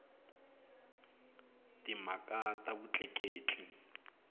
timhaka ta vutleketli